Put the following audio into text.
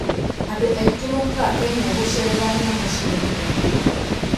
Andũ aingĩ mokaga Kenya gũceerera nyamũ cia gĩthaka.